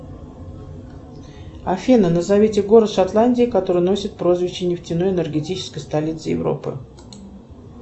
афина назовите город в шотландии который носит прозвище нефтяной энергетической столицы европы